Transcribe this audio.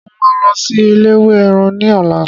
Mo máa lọ sí eléwé ẹran ní ọ̀la